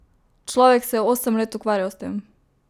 Človek se je osem let ukvarjal s tem!